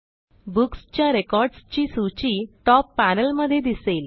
Booksच्या रेकॉर्डसची सूची टॉप panelमध्ये दिसेल